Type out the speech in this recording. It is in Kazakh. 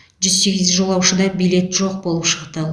жүз сегіз жолаушыда билет жоқ болып шықты